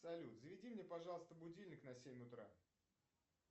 салют заведи мне пожалуйста будильник на семь утра